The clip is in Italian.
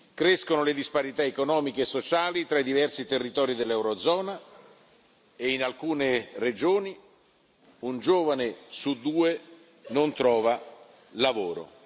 Crescono le disparità economiche e sociali tra i diversi territori dell'eurozona e in alcune regioni un giovane su due non trova lavoro.